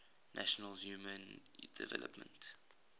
nations human development